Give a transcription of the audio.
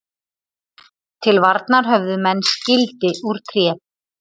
Til varnar höfðu menn skildi úr tré.